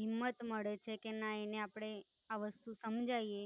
હિમ્મત મળે છે. કે ના એને આપડે આ વસ્તુ સમજાવીએ